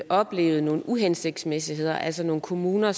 oplevet nogle uhensigtsmæssigheder altså nogle kommuner